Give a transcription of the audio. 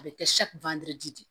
A bɛ kɛ de ye